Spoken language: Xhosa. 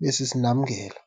ibe sisinamngela.